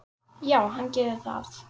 Já, hann gerir það